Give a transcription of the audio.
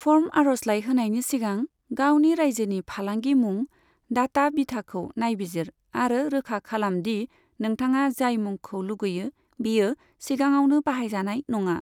Form आर'जलाइ होनायनि सिगां गावनि रायजोनि फालांगि मुं, डाटा बिथाखौ नायबिजिर आरो रोखा खालाम दि नोंथाङा जाय मुंखौ लुगैयो बेयो सिगाङावनो बाहायजानाय नङा।